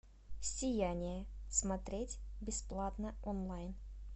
сияние смотреть бесплатно онлайн